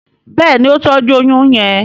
Béèni o tọjú oyún yén.